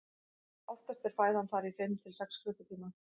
oftast er fæðan þar í fimm til sex klukkutíma